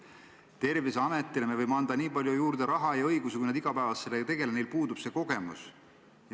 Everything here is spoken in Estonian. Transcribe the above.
Me võime Terviseametile anda juurde nii palju raha ja õigusi kui tahes, kuid nad ei tegele sellega igapäevaselt, neil puudub see kogemus.